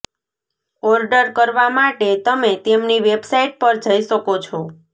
order કરવા માટે તમે તેમની વેબસાઇટ પર જઈ શકો છો